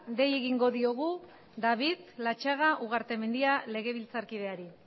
di egingo diogu david latxaga ugartemendia legebiltzarkideari